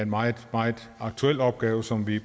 meget meget aktuel opgave som vi